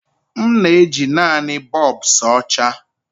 M na-eji naanị bulbs ọcha.